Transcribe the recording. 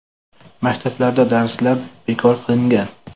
Maktablarda darslar bekor qilingan.